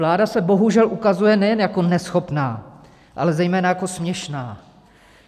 Vláda se bohužel ukazuje nejen jako neschopná, ale zejména jako směšná.